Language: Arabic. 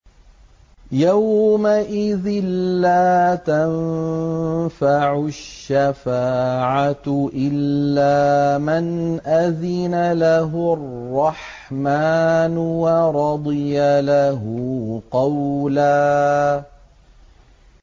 يَوْمَئِذٍ لَّا تَنفَعُ الشَّفَاعَةُ إِلَّا مَنْ أَذِنَ لَهُ الرَّحْمَٰنُ وَرَضِيَ لَهُ قَوْلًا